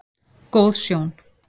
Góð sjón